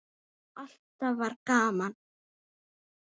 Og alltaf var gaman.